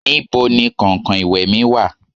níbo ni kankan iwe mi wa?